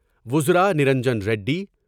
وزار Vanarjan Reddy,